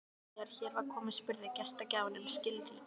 Þegar hér var komið spurði gestgjafinn um skilríki.